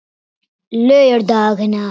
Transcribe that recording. laugardagana